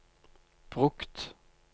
brukt